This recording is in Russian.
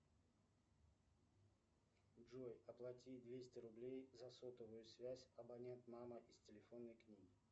джой оплати двести рублей за сотовую связь абонент мама из телефонной книги